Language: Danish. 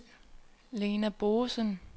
Lena Boesen